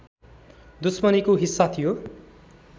दुश्मनीको हिस्सा थियो